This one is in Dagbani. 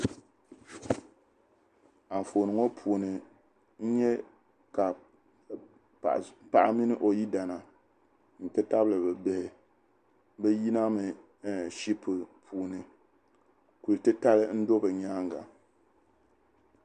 Anfooni ŋɔ puuni n nya ka paɣa mini o yidana nti tabili bɛ bihi bɛ yinami ɛɛh shipu puuni. Kul' titali n-do bɛ nyaaŋga.